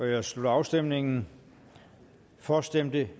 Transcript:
jeg slutter afstemningen for stemte